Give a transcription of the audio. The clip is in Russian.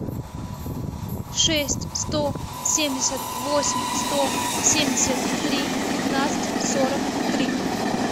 шесть сто семьдесят восемь сто семьдесят три пятнадцать сорок три